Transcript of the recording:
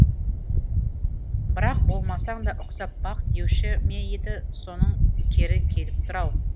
бірақ болмасаң да ұқсап бақ деуші ме еді соның кері келіп тұр ау